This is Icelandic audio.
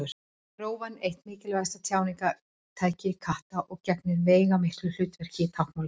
Rófan er eitt mikilvægasta tjáningartæki katta og gegnir veigamiklu hlutverki í táknmáli þeirra.